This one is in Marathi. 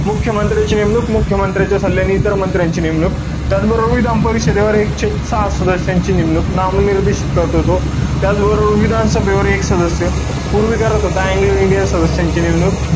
मुख्यमंत्र्यांची नेमणूक, मुख्यमंत्र्याच्या सल्ल्याने इतर मंत्र्यांची नेमणूक. त्याचबरोबर, विधानसभा परिषदेवर एकशे सहा सदस्यांची नेमणूक, नामनिर्देशित करतो तो. त्याचबरोबर, विधानसभेवर एक सदस्य, पूर्वी करत होता. अँग्लो इंडिया सदस्यांची नेमणूक,